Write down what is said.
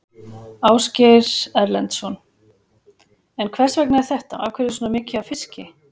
Ásgeir Erlendsson: En hvers vegna er þetta, af hverju er svona mikið af fiski?